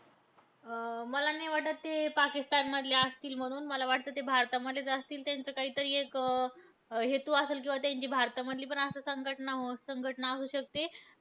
अं मला नाही वाटतं ते पाकिस्तान मधले असतील म्हणून. मला वाटतं ते भारतामधलेच असतील. त्यांचं काहीतरी एक अं हेतू असेल किंवा त्यांची भारतामधली पण अशी संघटना संघटना असू शकते.